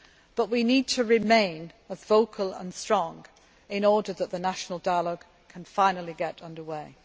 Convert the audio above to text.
made. But we need to remain vocal and strong in order that the national dialogue can finally get under